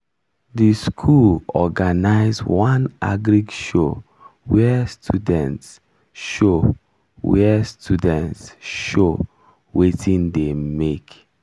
the school organize one agric show where students show where students show watin dem make